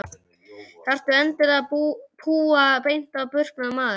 Þarftu endilega að púa beint á burknann maður?